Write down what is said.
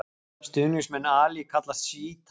Stuðningsmenn Ali kallast sjítar.